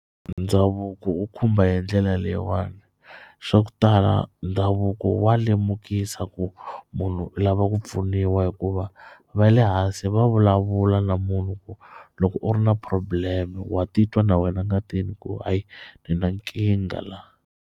Ndhavuko wu khumba hi ndlela leyiwani swa ku tala ndhavuko wa lemukisa ku munhu u lava ku pfuniwa hikuva va le hansi va vulavula na munhu ku loko u ri na problem wa titwa na wena ngatini ku hayi ni na nkingha la.